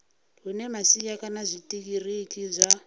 hune masia kana zwitiriki zwa